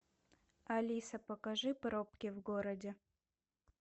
алиса покажи пробки в городе